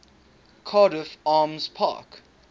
cardiff arms park